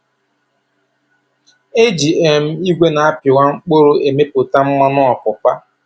E ji um igwe na-apịwa mkpụrụ e mepụta mmanụ ọpụpa.